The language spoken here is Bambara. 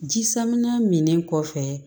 Ji saminɛ min kɔfɛ